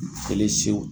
Kelen sew